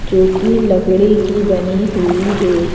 जो कि लकड़ी की बनी हुई है।